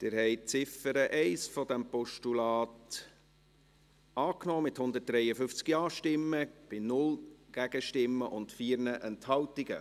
Sie haben die Ziffer 1 dieses Postulats angenommen, mit 153 Ja-Stimmen bei 0 Gegenstimmen und 4 Enthaltungen.